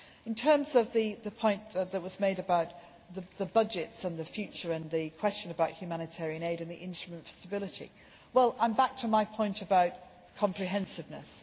In terms of the point that was made about the budgets, the future and the question about humanitarian aid and the Instrument for Stability, I come back to my point about comprehensiveness.